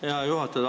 Hea juhataja!